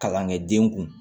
Kalankɛden kun